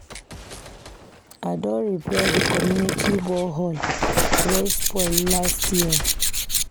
I don repair di community borehole wey spoil last year.